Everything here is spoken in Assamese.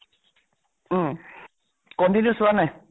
উম। continue চোৱা নে নাই?